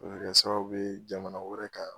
O be kɛ sababu ye jamana wɛrɛ ka